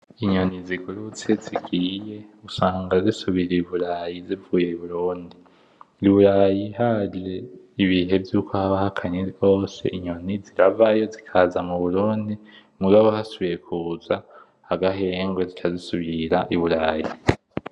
Inyoni zigurutse zigiye, usanga zisubiye i burayi zivuye i Burundi, usanga i burayi haje ibihe vyuko haba hakanye gose inyoni ziravayo zikaza mu Burundi mugabo hasubiye kuza agahenrwe zica zisubira i burayi.